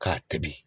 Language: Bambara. K'a tobi